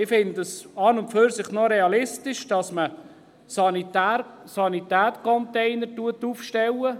Ich finde es an und für sich noch realistisch, dass man Sanitätscontainer aufstellt.